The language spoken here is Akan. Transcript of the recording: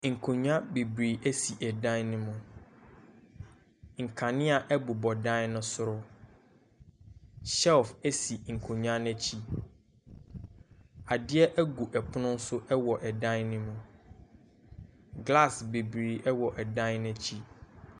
Nkonnwa bebree sisi dan ne mu, nkanea bobɔ dan ne soro, shelf si nkonnwa no akyi, adeɛ gu pono so wɔ dan ne mu glass bebree wɔ dan n’akyi.